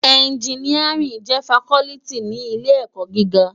Ènjìníárìn jè fákòlìtí ni ilé èkò gigá